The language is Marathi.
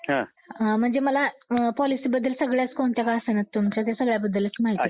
म्हणजे मला पॉलिसी बद्दल कोणत्या का असेना त्या सगळ्या बद्दलच माहिती द्या